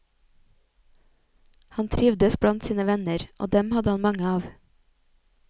Han trivdes blant sine venner, og dem hadde han mange av.